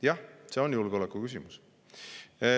Jah, see on julgeolekuküsimus.